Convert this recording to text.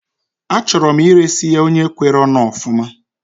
Achọrọ m iresi ya onye kwere onu ofuma